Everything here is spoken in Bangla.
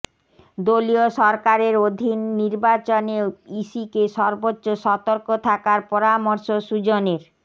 দলীয় সরকারের অধীন নির্বাচনে ইসিকে সর্বোচ্চ সতর্ক থাকার পরামর্শ সুজনের